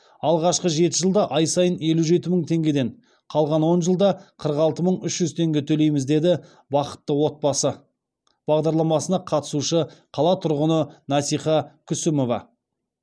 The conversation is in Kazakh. алғашқы жеті жылда ай сайын елу жеті мың теңгеден қалған он жылда қырық алты мың үш жүз теңге төлейміз деді бақытты отбасы бағдарламасына қатысушы қала тұрғыны насиха күсімова